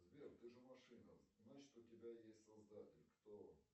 сбер ты же машина значит у тебя есть создатель кто он